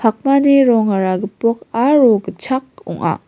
pakmani rongara gipok aro gitchak ong·a.